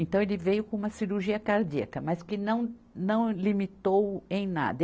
Então ele veio com uma cirurgia cardíaca, mas que não não limitou-o em nada.